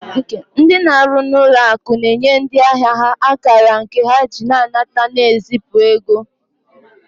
Ndị na-arụ n'ụlọ akụ na-enye ndị ahịa ha akara nke ha ji anata na ezipụ ego